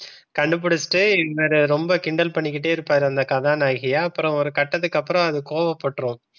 கண்டுபிடிச்சிட்டே ரொம்ப கிண்டல் பண்ணிக்கிட்டே இருப்பாரு. அந்த கதாநாயகிய அப்புறம் ஒரு கட்டத்துக்கு அப்புறம் அது கோபப்பட்டுரும்.